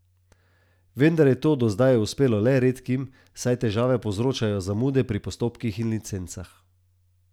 Vendar je to do zdaj uspelo le redkim, saj težave povzročajo zamude pri postopkih in licencah.